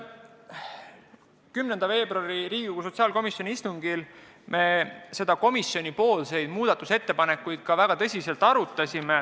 10. veebruaril peetud sotsiaalkomisjoni istungil me arutasime komisjoni muudatusettepanekuid väga tõsiselt.